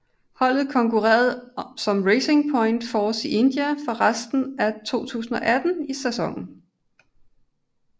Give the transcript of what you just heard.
Holdet konkurrerede som Racing Point Force India for resten af 2018 sæsonen